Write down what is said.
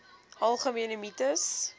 algemene mites